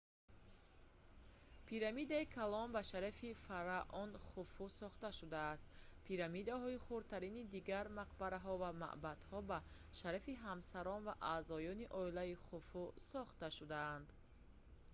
пирамидаи калон ба шарафи фараон хуфу сохта шудааст пирамидаҳои хурдтари дигар мақбараҳо ва мабдаъҳо ба шарафи ҳамсарон ва аъзоёни оилаи хуфу сохта шудаанд